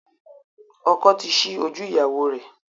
Ọkọ the ṣi ojú ìyáwo rẹ.